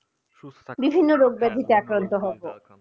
বিভিন্ন রোগ ব্যাধিতে আক্রান্ত হব